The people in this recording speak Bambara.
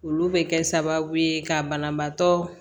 Olu bɛ kɛ sababu ye ka banabaatɔ